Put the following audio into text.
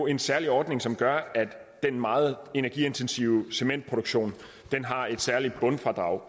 en særlig ordning som gør at den meget energiintensive cementproduktion har et særligt bundfradrag